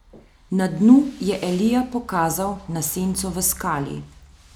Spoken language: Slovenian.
Na dnu je Elija pokazal na senco v skali.